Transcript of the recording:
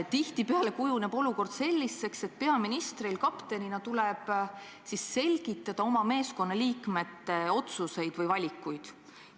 Tihtipeale kujuneb olukord selliseks, et peaministril kaptenina tuleb selgitada oma meeskonna liikmete otsuseid või valikuid.